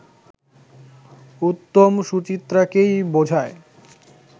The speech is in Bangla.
উত্তম-সুচিত্রাকেই বোঝায়